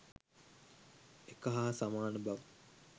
එක හා සමාන බව